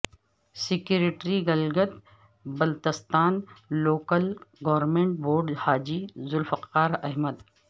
secretary Gilgit Baltistan local government board Haji Zulfiqar Ahmad